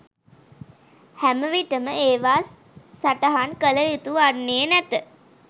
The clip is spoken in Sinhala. හැම විටම ඒවා සටහන් කල යුතු වන්නේ නැත.